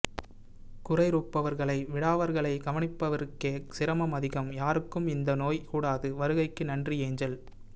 குறைருப்பவரைவிடாவர்களை கவனிப்பவருக்கே சிரமம் அதிகம் யாருக்கும் இந்தநோய் கூடாது வருகைகு நன்றி ஏஞ்செல்